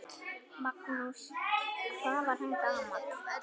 Magnús: Hvað var hann gamall?